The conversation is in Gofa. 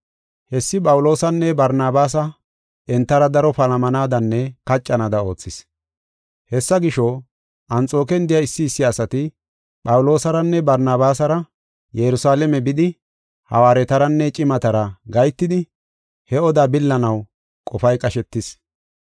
Hessi Phawuloosanne Barnabaasa entara daro palamanadanne kaccanaada oothis. Hessa gisho, Anxooken de7iya issi issi asati Phawuloosaranne Barnabaasara Yerusalaame bidi Hawaaretaranne cimatara gahetidi he oda billanaw qofay qashetis.